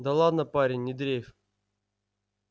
да ладно парень не дрейфь